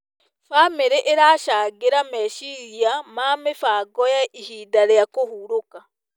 Bamĩrĩ ĩracangĩra meciria ma mĩbango ya ihinda rĩa kũhurũka.